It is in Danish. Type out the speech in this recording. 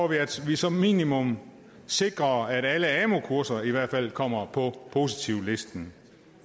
vi at vi som minimum sikrer at alle amu kurser i hvert fald kommer på positivlisten